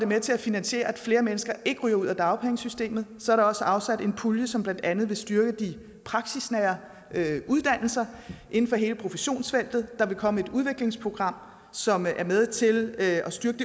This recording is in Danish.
med til at finansiere at flere mennesker ikke ryger ud af dagpengesystemet så er der også afsat en pulje som blandt andet vil styrke de praksisnære uddannelser inden for hele professionsfeltet der vil komme et udviklingsprogram som er med til at styrke